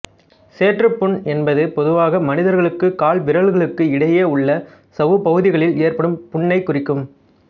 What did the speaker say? சேற்றுப் புண் என்பது பொதுவாக மனிதர்களுக்கு கால் விரல்களுக்கு இடையே உள்ள சவ்வுப் பகுதிகளில் ஏற்படும் புண்ணைக் குறிக்கும்